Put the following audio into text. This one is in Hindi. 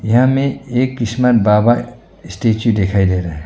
यहां में एक क्रिसमन बाबा स्टैचू दिखाई दे रहा है।